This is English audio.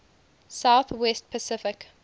south west pacific